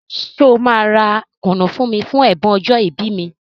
Ṣé ọ máa ra kùnú fún mí fún ẹ̀bùn ọjọ́ ìbí mi?